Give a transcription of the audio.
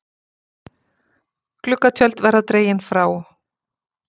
Gluggatjöld verði dregin frá